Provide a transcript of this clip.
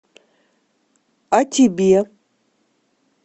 а тебе